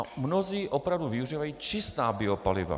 A mnozí opravdu využívají čistá biopaliva.